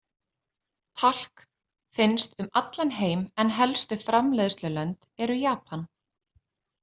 Talk finnst um allan heim en helstu framleiðslulönd eru Japan.